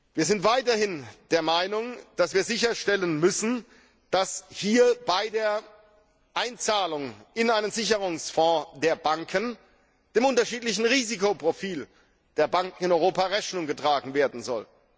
Wir sind weiterhin der Meinung, dass wir sicherstellen müssen, dass bei der Einzahlung in einen Sicherungsfonds der Banken dem unterschiedlichen Risikoprofil der Banken in Europa Rechnung getragen werden soll.